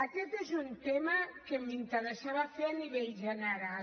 aquest és un tema que m’interessava fer a nivell general